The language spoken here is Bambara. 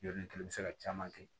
Yɔrɔ ni kelen bɛ se ka caman kɛ